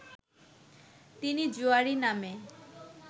তিনি জুয়াড়ি নামে